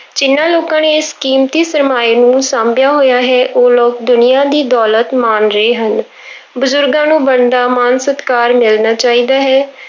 ਜਿਹਨਾਂ ਲੋਕਾਂ ਨੇ ਇਸ ਕੀਮਤੀ ਸ਼ਰਮਾਏ ਨੂੰ ਸਾਂਭਿਆ ਹੋਇਆ ਹੈ, ਉਹ ਲੋਕ ਦੁਨੀਆਂ ਦੀ ਦੌਲਤ ਮਾਣ ਰਹੇ ਹਨ ਬਜ਼ੁਰਗਾਂ ਨੂੰ ਬਣਦਾ ਮਾਣ ਸਤਿਕਾਰ ਮਿਲਣਾ ਚਾਹੀਦਾ ਹੈ।